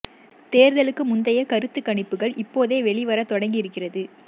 தேர்தலுக்கு முந்தைய கருத்து கணிப்புகள் இப்போதே வெளி வர தொடங்கி இருக்கிறது